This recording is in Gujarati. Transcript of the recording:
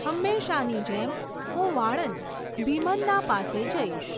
હંમેશાંની જેમ હું વાળંદ ભિમન્ના પાસે જઈશ.